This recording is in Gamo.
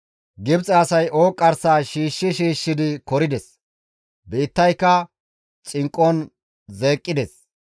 Gibxe asay ooqqarsaa shiishshi shiishshidi korides; biittayka xinqqon zeeqqides.